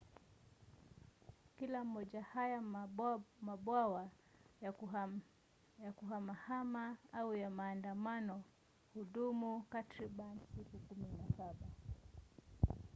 kila moja haya mabwawa ya kuhamahama au maandamano hudumu takriban siku 17